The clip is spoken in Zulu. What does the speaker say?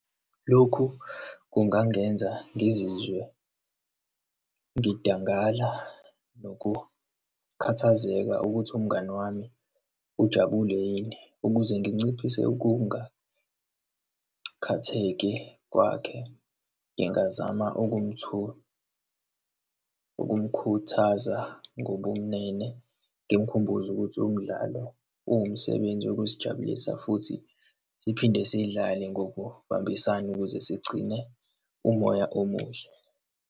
Lokhu kungangenza ngizizwe ngidangala nokukhathazeka ukuthi umngani wami ujabule yini. Ukuze nginciphise ukungakhatheki kwakhe, ngingazama ukumkhuthaza ngobumnene, ngimkhumbuze ukuthi umdlalo uwumsebenzi wokuzijabulisa futhi siphinde siyidlale ngokubambisana ukuze sigcine umoya omuhle.